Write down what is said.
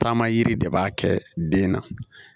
Taama yiri de b'a kɛ den na